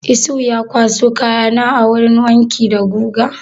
Isuhu ya kwaso kaya na a wurin wanki da guga?